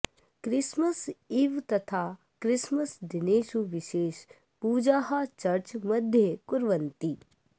Christmas eve तथा Christmas दिनेषु विशेष पूजाः चर्च् मध्ये कुर्वन्ति